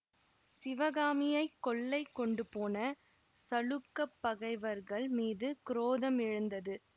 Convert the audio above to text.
சிவகாமியை கொள்ளை கொண்டுபோன சளுக்கப் பகைவர்கள் மீது குரோதம் எழுந்தது